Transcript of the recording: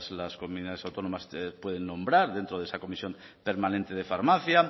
las comunidades autónomas pueden nombrar dentro de esa comisión permanente de farmacia